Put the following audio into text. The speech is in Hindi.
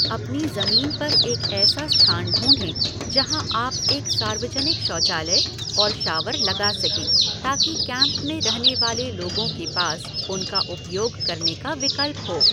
अपनी जमीन पर एक ऐसा स्थान ढूंढें जहाँ आप एक सार्वजनिक शौचालय और शावर लगा सकें ताकि कैम्प में रहने वाले लोगों के पास उनका उपयोग करने का विकल्प हो।